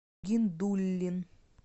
гиндуллин